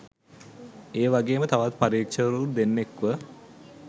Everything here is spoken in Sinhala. ඒ වගේම තවත් පරීක්ෂකවරු දෙන්නෙක්ව